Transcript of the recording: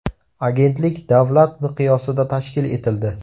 Agentlik davlat miqyosida tashkil etildi.